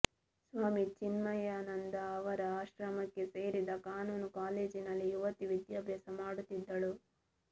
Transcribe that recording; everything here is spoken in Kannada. ಸ್ವಾಮಿ ಚಿನ್ಮಯಾನಂದ ಅವರ ಆಶ್ರಮಕ್ಕೆ ಸೇರಿದ ಕಾನೂನು ಕಾಲೇಜಿನಲ್ಲಿ ಯುವತಿ ವಿದ್ಯಾಭ್ಯಾಸ ಮಾಡುತ್ತಿದ್ದಳು